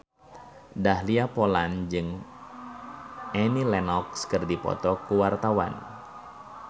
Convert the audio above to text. Dahlia Poland jeung Annie Lenox keur dipoto ku wartawan